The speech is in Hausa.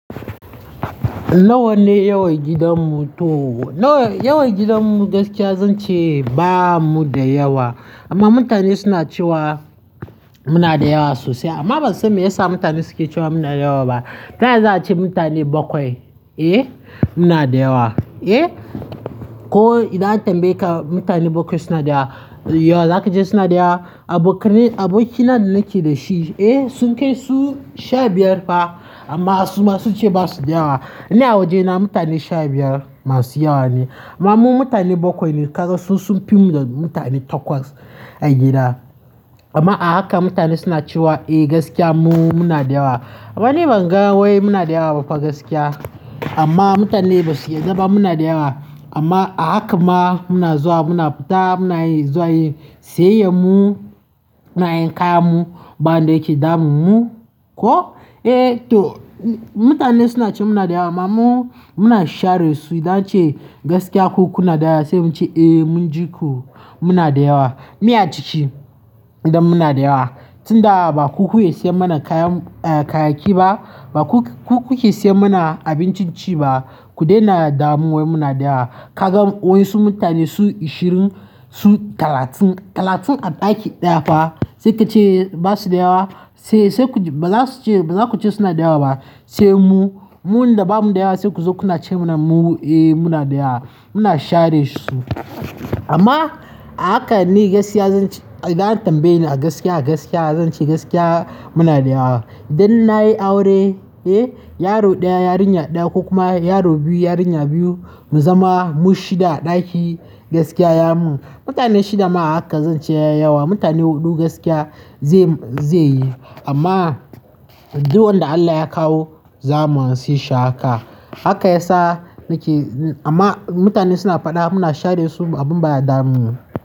Nawa ne yawan gidan mu? To yawan gidan mu gaskiya zan ce ba mu da yawa amma mutane suna cewa muna da yawa sosai. Amma ban san me yasa mutane suke cewa muna da yawa ba. Ta yaya za a ce mutane bakwai, eh, muna da yawa, eh? Ko idan an tambaye ka mutane bakwai suna da yawa, za ka ce suna da yawa? Abokai, abokin nan da nake da shi, eh, sun kai su sha biyar fa amma su ma su ce ba su da yawa. Ni a wajena mutane sha biyar masu yawa ne. Amma mu mutane bakwai ne, ka ga sun fi mu da mutane takwas a gida. Amma a haka mutane suna cewa eh gaskiya mu muna da yawa. Amma ni ban ga wai muna da yawa ba fa gaskiya. Amma mutane basu yadda ba muna da yawa amma a haka ma muna zuwa muna fita muna yin zuwa yi, sai mu nayi kayan mu, banda yake damun mu. Ko? Eh to mutane suna cewa muna da yawa amma mu muna share su idan an ce gaskiya ku kuna da yawa sai mun ce eh mun ji ku muna da yawa. Miya ciki idan muna da yawa. Tun da ba ku ku iya siyan mana kayan, kayayyaki ba, ba ku ku ke siyan mana abincin ci ba, ku daina damuwar muna da yawa. Ka gan wai su mutane su ashirin su talatin, talatin a ɗaki ɗaya fa sai ka ce ba su da yawa? Sai sai ku ba za su ce, ba za ku ce suna da yawa ba. Sai mu, mu ne da ba mu da yawa sai ku zo kuna ce mana mu eh muna da yawa. Muna share su. Amma a haka ni gaskiya zan ce idan an tambaye ni a gaskiya a gaskiya zan ce gaskiya muna da yawa. Idan na yi aure, eh, yaro ɗaya yarinya ɗaya ko kuma yaro biyu yarinya biyu mu zama mu shida a ɗaki gaskiya ya mun. Mutane shida ma haka zan ce ya yi yawa. Mutane huɗu gaskiya zai, zai yi. Amma duwawun da Allah ya kawo za mu anshe haka. Haka ya sa nake amma mutane suna faɗa muna share su abun bada damun mu.